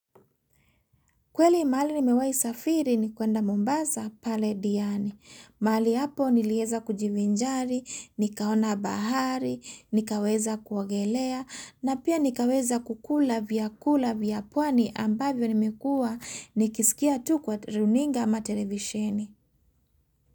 Kweli mahali nimewahi safiri ni kuenda Mombasa pale diani. Mahali hapo nilieza kujivinjari, nikaona bahari, nikaweza kuogelea, na pia nikaweza kukula vyakula vya pwani ambavyo nimekuwa nikisikia tu kwa runinga ama televisheni.